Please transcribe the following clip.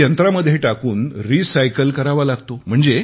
जो यंत्रामध्ये टाकून रिसायकल करावा लागतो